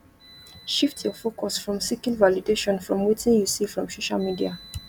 shift your focus from seeking validation from wetin you see from social media